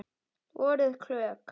Voruð klók.